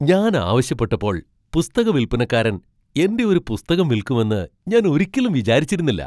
ഞാൻ ആവശ്യപ്പെട്ടപ്പോൾ പുസ്തക വിൽപ്പനക്കാരൻ എന്റെ ഒരു പുസ്തകം വിൽക്കുമെന്ന് ഞാൻ ഒരിക്കലും വിചാരിച്ചിരുന്നില്ല!